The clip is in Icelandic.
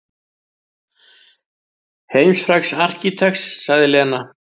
Heimsfrægs arkitekts sagði Lena.